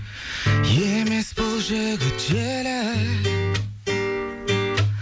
емес бұл жігіт желік